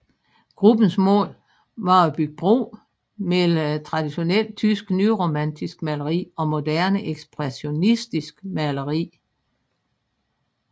Gruppens mål var at bygge bro mellem tradionelt tysk nyromantisk maleri og moderne ekspressionistisk maleri